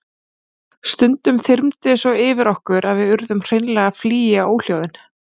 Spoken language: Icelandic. Stundum þyrmdi svo yfir okkur að við urðum hreinlega að flýja óhljóðin.